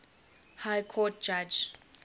high court judge